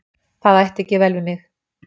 Það ætti ekki vel við mig.